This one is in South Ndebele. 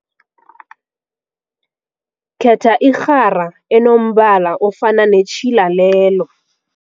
Khetha irhara enombala ofana netjhila lelo.